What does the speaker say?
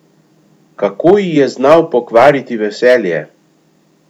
Kako ji je znal pokvariti veselje!